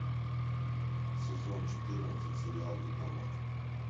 сезон четырнадцать сериал дипломат